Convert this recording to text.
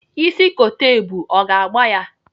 Ịsị kote ebu, ọ ga-agba ya?